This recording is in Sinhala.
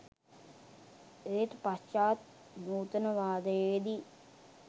ඒත් පශ්චාත් නූතනවාදයේදී